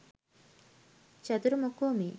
චතුර මොකෝ මේ